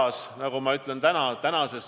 Sellised juhised on ka Terviseamet välja andnud.